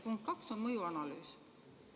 Punkt 2 on mõjuanalüüs.